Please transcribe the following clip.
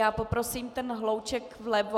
Já poprosím ten hlouček vlevo...